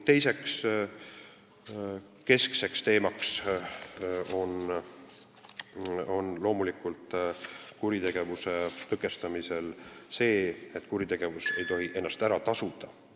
Teine keskne teema kuritegevuse tõkestamisel on loomulikult see, et kuritegevus ei tohi ennast ära tasuda.